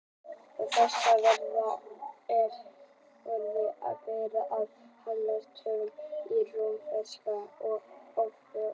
Á þessari vefsíðu er forrit sem breytir arabískum tölum í rómverskar og öfugt.